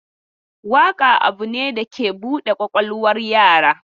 Waƙa abu ne da ke bude kwakwalwar yara.